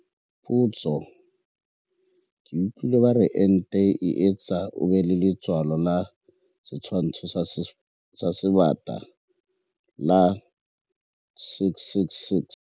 Potso- Ke utlwile ba re ente e etsa o be le letshwao la setshwantsho sa Sebata - la 666.